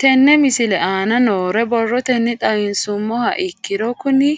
Tenne misile aana noore borrotenni xawisummoha ikirro kunni